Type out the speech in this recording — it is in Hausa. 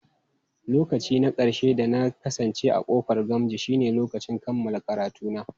Lokaci na ƙarshe da na kasance a ƙofar Gamji shine lokacin kammala karatuna.